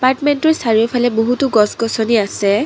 এপমেণ্টটোৰ চাৰিওফালে বহুতো গছ-গছনি আছে।